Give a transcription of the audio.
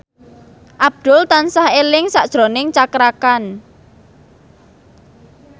Abdul tansah eling sakjroning Cakra Khan